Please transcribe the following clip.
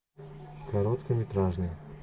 короткометражный